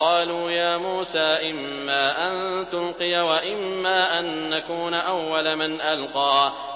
قَالُوا يَا مُوسَىٰ إِمَّا أَن تُلْقِيَ وَإِمَّا أَن نَّكُونَ أَوَّلَ مَنْ أَلْقَىٰ